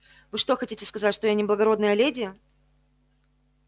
вы что хотите сказать что я не благородная леди